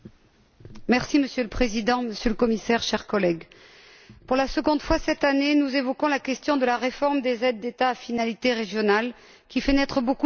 Monsieur le Président, Monsieur le Commissaire, chers collègues, pour la seconde fois cette année, nous évoquons la question de la réforme des aides d'État à finalité régionale, qui fait naître beaucoup d'inquiétudes.